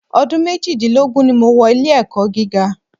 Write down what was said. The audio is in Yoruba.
Ọdún méjìdínlógún ni mo wọ ilé-ẹ̀kọ́ gíga.